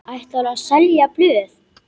Ætlarðu að selja blöð?